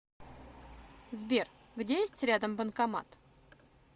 сбер где есть рядом банкомат